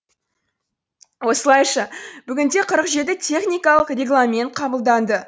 осылайша бүгінде қырық жеті техникалық регламент қабылданды